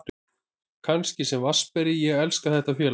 Kannski sem vatnsberi, ég elska þetta félag.